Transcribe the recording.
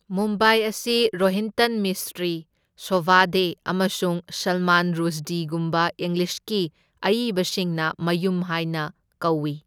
ꯃꯨꯝꯕꯥꯏ ꯑꯁꯤ ꯔꯣꯍꯤꯟꯇꯟ ꯃꯤꯁꯇ꯭ꯔꯤ, ꯁꯣꯚꯥ ꯗꯦ, ꯑꯃꯁꯨꯡ ꯁꯜꯃꯥꯟ ꯔꯨꯁꯗꯤꯒꯨꯝꯕ ꯏꯪꯂꯤꯁꯀꯤ ꯑꯏꯕꯁꯤꯡꯅ ꯃꯌꯨꯝ ꯍꯥꯢꯅ ꯀꯧꯏ꯫